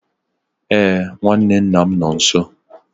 Ee, nwanne nna m nọ nso.